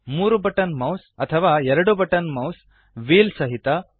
3 button mouse ಅಥವಾ 2 button mouse wheel ಸಹಿತ